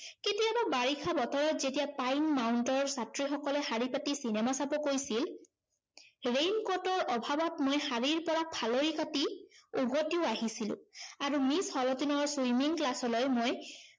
কেতিয়াবা বাবিষা বতৰত যেতিয়া পাইন মাউন্টৰ ছাত্ৰীসকলে শাৰী পাতি cinema চাব গৈছিল raincoat ৰ অভাৱত মই শাৰীৰ পৰা ফালৰি কাটি, উভতিও আহিছিলো। আৰু মিছ হলটিনৰ swimming class লৈ মই